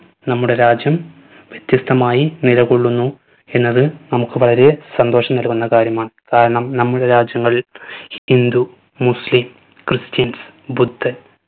നമ്മുടെ രാജ്യം വ്യത്യസ്‌തമായി നിലകൊള്ളുന്നു എന്നത് നമ്മുക്ക് വളരെ സന്തോഷം നക്കുന്ന കാര്യമാണ്. കാരണം നമ്മുടെ രാജ്യങ്ങളിൽ ഹിന്ദു muslim cristians ബുദ്ധൻ